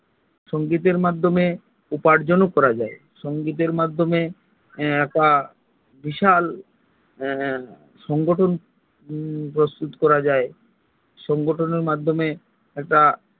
সঙ্গীতের মাধ্যমে উপার্জন ও করা যায় সঙ্গীতের মাধ্যমে একটা বিশাল একটা বিশাল সংগঠন প্রস্তুত করা যায় সংগঠন এর মাধ্যমে